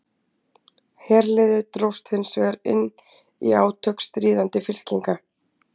herliðið dróst hins vegar inn í átök stríðandi fylkinga